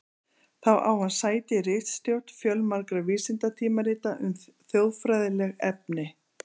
Þá á hann sæti í ritstjórn fjölmargra vísindatímarita um þjóðfræðileg efni.